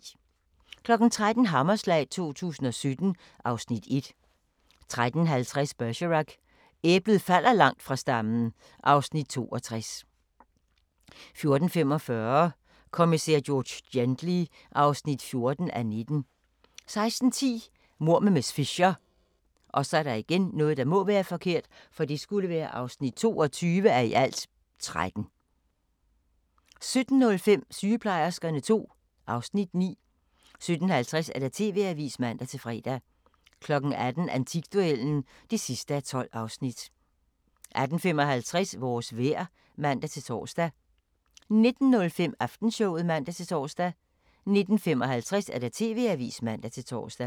13:00: Hammerslag 2017 (Afs. 1) 13:50: Bergerac: Æblet falder langt fra stammen (Afs. 62) 14:45: Kommissær George Gently (14:19) 16:10: Mord med miss Fisher (22:13) 17:05: Sygeplejerskerne II (Afs. 9) 17:50: TV-avisen (man-fre) 18:00: Antikduellen (12:12) 18:55: Vores vejr (man-tor) 19:05: Aftenshowet (man-tor) 19:55: TV-avisen (man-tor)